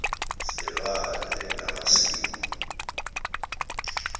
zelwandle namasil the